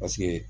Paseke